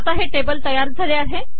आता हे टेबल तयार झाले आहे